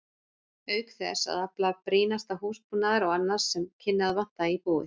Auk þess að afla brýnasta húsbúnaðar og annars sem kynni að vanta í búið.